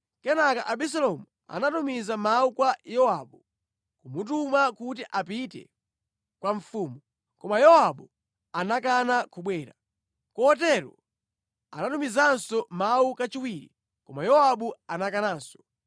Kenaka Abisalomu anatumiza mawu kwa Yowabu, kumutuma kuti apite kwa mfumu, koma Yowabu anakana kubwera. Kotero anatumizanso mawu kachiwiri, koma Yowabu anakananso.